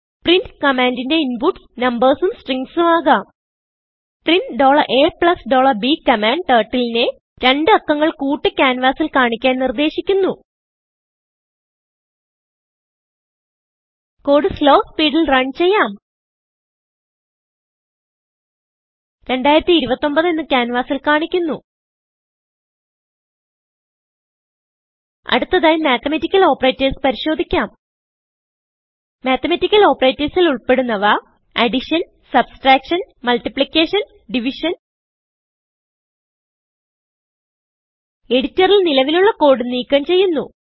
print commandന്റെ inputsനബേഴ്സും സ്ട്രിംഗസും ആകാം പ്രിന്റ് a b കമാൻഡ്Turtleനെ രണ്ട് അക്കങ്ങൾ കൂട്ടി ക്യാൻവാസിൽ കാണിക്കാൻ നിർദേശിക്കുന്നു കോഡ് slowസ്പീഡിൽ റൺ ചെയ്യാം 2029 എന്ന് ക്യാൻവാസിൽ കാണുന്നു അടുത്തതായി മാത്തമാറ്റിക്കൽ ഓപ്പറേറ്റർസ് പരിശോദിക്കാം മാത്തമാറ്റിക്കൽ ഓപ്പറേറ്റർസ് ൽ ഉൾപ്പെടുന്നവ എഡിറ്ററിൽ നിലവിലുള്ള കോഡ് നീക്കം ചെയ്യുന്നു